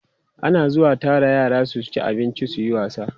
ana zuwa Tara yara su ci abinci suyi wasa